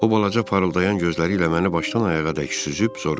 O balaca parıldayan gözləri ilə məni başdan ayağa dək süzüb soruşdu.